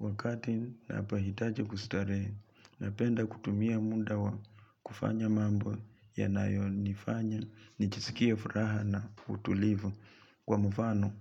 Wakati napohitaji kustarehe napenda kutumia muda wa kufanya mambo yanayonifanya nijiskie furaha na utulivu kwa mfano.